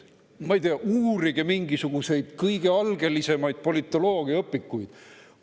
Ma ei tea, uurige mingisuguseid kõige algelisemaid politoloogiaõpikuid.